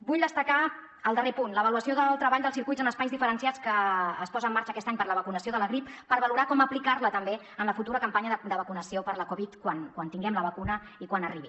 vull destacar el darrer punt l’avaluació del treball dels circuits en espais diferenciats que es posa en marxa aquest any per a la vacunació de la grip per valorar com aplicar la també en la futura campanya de vacunació per la covid quan tinguem la vacuna i quan arribi